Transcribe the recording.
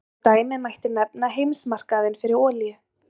Sem dæmi mætti nefna heimsmarkaðinn fyrir olíu.